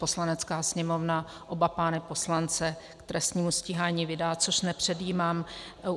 Poslanecká sněmovna oba pány poslance k trestnímu stíhání vydá, což nepředjímám.